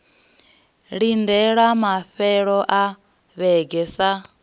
lindelwa mafhelo a vhege sa